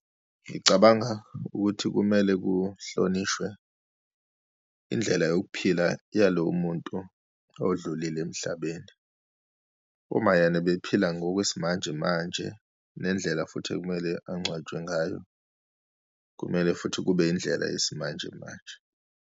Ngicabanga ukuthi kumele kuhlonishwe indlela yokuphila yalowo muntu odlulile emhlabeni. Uma yena ebephila ngokwesimanjemanje, nendlela futhi ekumele angcwatshwe ngayo, kumele futhi kube indlela yesimanjemanje.